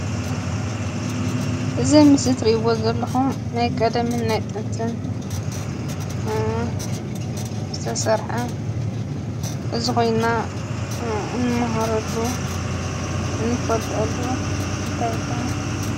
እዚ ኣብ ምስሊ ትሪእዎ ዘለኹም ናይ ቀደምን ናይ ጥንትን ዝተሰርሐ ሕዚ ኮይንና ንመሃረሉ እንፈልጠሉ እንታይ ይበሃል?